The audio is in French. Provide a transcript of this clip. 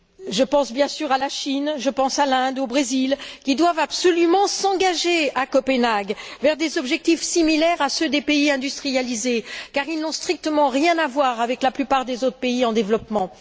Je pense, bien sûr, à la Chine, je pense à l'Inde, au Brésil, qui doivent absolument s'engager à Copenhague vers des objectifs similaires à ceux des pays industrialisés, car ils n'ont strictement rien à voir avec la plupart des autres pays en développement.